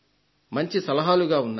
మంచి సలహాలుగా ఉన్నాయి